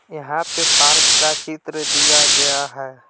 यहां पे पार्क का चित्र दिया गया है।